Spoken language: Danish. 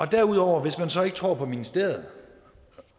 derudover hvis man så ikke tror på ministeriet